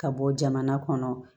Ka bɔ jamana kɔnɔ